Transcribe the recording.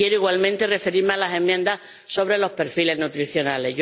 Quiero igualmente referirme a las enmiendas sobre los perfiles nutricionales.